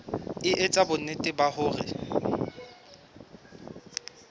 e etsa bonnete ba hore